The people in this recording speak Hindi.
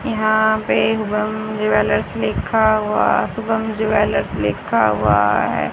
यहां पे शुभम ज्वेलर्स लिखा हुआ शुभम ज्वेलर्स लिखा हुआ है।